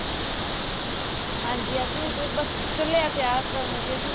ਹਾਂਜੀ ਅਸੀਂ ਵੀ ਤੇ ਬੱਸ ਚੱਲੇ ਹਾਂ ਤਿਆਰ ਹੋਣ ਲੱਗੇ ਸੀ